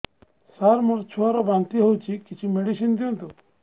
ସାର ମୋର ଛୁଆ ର ବାନ୍ତି ହଉଚି କିଛି ମେଡିସିନ ଦିଅନ୍ତୁ